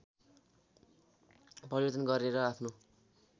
परिवर्तन गरेर आफ्नो